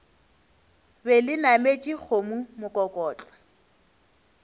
be le nametše kgomo mokokotlo